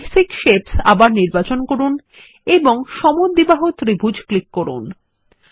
basic shapes আবার নির্বাচন করুন এবং সমদ্বিবাহু ত্রিভুজ ক্লিক করুন